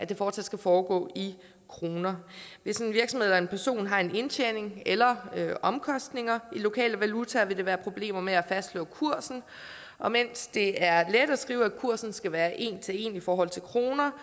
det fortsat skal foregå i kroner hvis en virksomhed eller en person har en indtjening eller omkostninger i lokal valuta vil der være problemer med at fastslå kursen og mens det er let at skrive at kursen skal være en til en i forhold til kroner